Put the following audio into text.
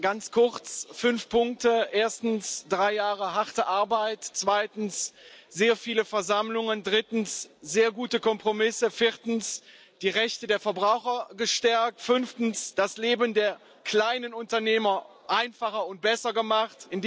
Ganz kurz fünf Punkte Erstens drei Jahre harte Arbeit, zweitens sehr viele Versammlungen, drittens sehr gute Kompromisse, viertens die Rechte der Verbraucher gestärkt, fünftens das Leben der kleinen Unternehmer einfacher und besser gemacht.